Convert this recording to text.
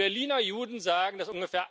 Die Berliner Juden sagen, dass ungefähr